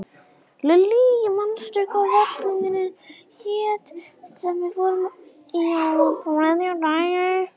Lillý, manstu hvað verslunin hét sem við fórum í á þriðjudaginn?